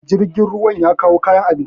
jirgin ruwa ya kawo kayan abinci